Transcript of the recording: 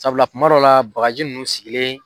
Sabula kuma dɔ la baga ji nunnu sigilen.